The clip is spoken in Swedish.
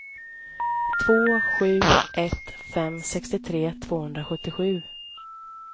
två sju ett fem sextiotre tvåhundrasjuttiosju